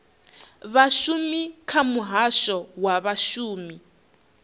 vhashumi kha muhasho wa vhashumi